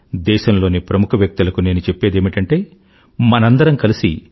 దేశంలోని ప్రముఖ వ్యక్తులకు నేను చెప్పేదేమిటంటే మనందరము కలిసి